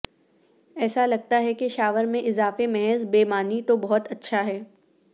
ایسا لگتا ہے کہ شاور میں اضافے محض بے معنی تو بہت اچھا ہے